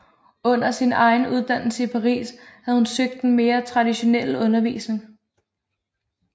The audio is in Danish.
Under sin egen uddannelse i Paris havde hun søgt den mere traditionelle undervisning